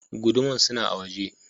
Guduman suna a waje.